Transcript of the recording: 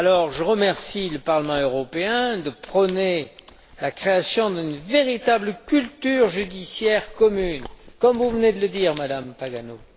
Je remercie dès lors le Parlement européen de prôner la création d'une véritable culture judiciaire commune, comme vous venez de le dire, Madame Pagano.